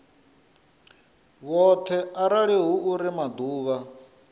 vhoṱhe arali hu uri maḓuvha